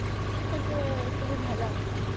ମାନେ ଏତେ ବି ଭଲ ଆସୁନି